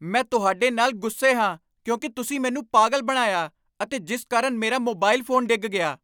ਮੈਂ ਤੁਹਾਡੇ ਨਾਲ ਗੁੱਸੇ ਹਾਂ ਕਿਉਂਕਿ ਤੁਸੀਂ ਮੈਨੂੰ ਪਾਗ਼ਲ ਬਣਾਇਆ ਅਤੇ ਜਿਸ ਕਾਰਣ ਮੇਰਾ ਮੋਬਾਈਲ ਫੋਨ ਡਿੱਗ ਗਿਆ।